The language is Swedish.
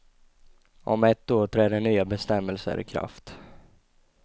Om ett år träder nya bestämmelser ikraft.